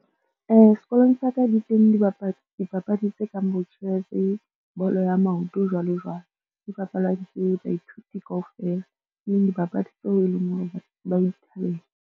Sekolong sa ka di teng dipapadi tse kang bo chess, bolo ya maoto, jwalo jwalo. Di bapalwa ke baithuti kaofela, e leng dipapadi tseo e leng hore batho ba di thabela.